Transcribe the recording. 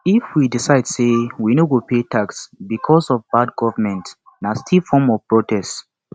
if we decide say we no go pay tax becos of bad government na still form of protest